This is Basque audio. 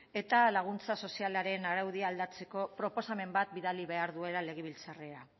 eta laguntza sozialaren araudia aldatzeko proposamen bat bidali behar duela legebiltzarrera